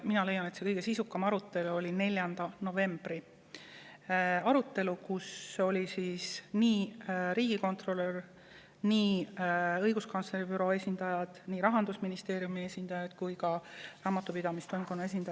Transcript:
Mina leian, et kõige sisukam arutelu oli 4. novembri arutelu, kus olid kohal nii riigikontrolör, õiguskantsleri büroo esindajad, Rahandusministeeriumi esindajad kui ka Raamatupidamise Toimkonna esindajad.